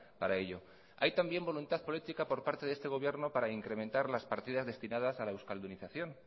para ello hay también voluntad política por parte de este gobierno para incrementar las partidas destinadas a la euskaldunización